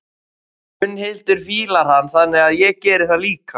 Gunnhildur fílar hann, þannig að ég geri það líka.